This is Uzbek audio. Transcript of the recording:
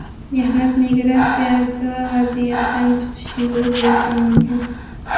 Mehnat migratsiyasi esa vaziyatdan chiqish yo‘li bo‘lishi mumkin.